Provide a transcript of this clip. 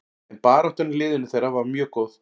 En baráttan í liðinu þeirra var mjög góð.